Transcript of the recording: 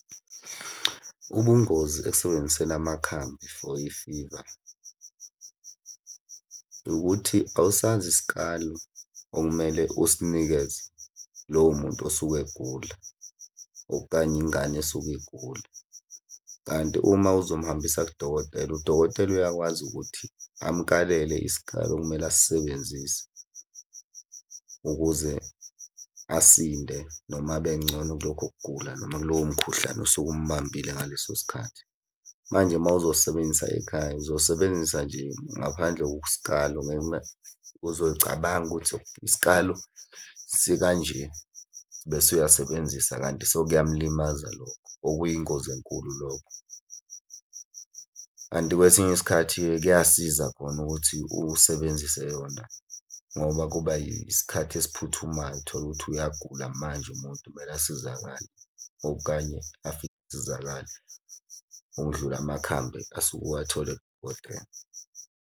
Ubungozi ekusebenziseni amakhambi for i-fever, ukuthi awusazi isikali okumele usinikeze lowo muntu osuke egula, okanye ingane esuke igula. Kanti uma uzomuhambisa kudokotela, udokotela uyakwazi ukuthi amukalele isikali okumele asisebenzise, ukuze asinde noma abe ngcono kulokho kugula noma kulowo mkhuhlane osuke umubambile ngaleso sikhathi. Manje uma uzosebenzisa ekhaya, uzosebenzisa nje ngaphandle kokusikalo ngenxa uzocabanga ukuthi isikalo sikanje bese uyasebenzisa kanti sekuyamulimaza lokho, okuyingozi enkulu lokho. Kanti kwesinye isikhathi-ke kuyasiza khona ukuthi usebenzise yona, ngoba kuba yisikhathi esiphuthumayo, uthole ukuthi uyagula manje umuntu kumele asizakale, okukanye afike asizakale okudlula amakhambi asuke ewathole kudokotela.